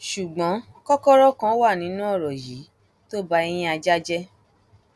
ṣùgbọn kòkòrò kan wà nínú ọrọ yìí tó ba ẹyin ajá jẹ